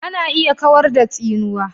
ana iya kawar da tsinuwa